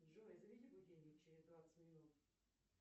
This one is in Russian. джой заведи будильник через двадцать минут